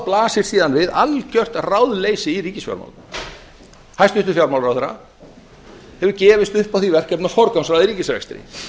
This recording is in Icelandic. blasir síðan við algjört ráðleysi í ríkisfjármálum hæstvirtur fjármálaráðherra hefur gefist upp á því verkefni að forgangsraða í ríkisrekstri